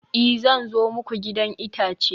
i, zan zo muku gidan itace